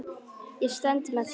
Ég stend með þér.